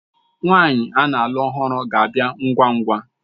Nwaanyi ana-alụ ọhụrụ ga-abịa ngwa ngwa.